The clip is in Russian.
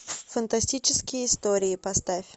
фантастические истории поставь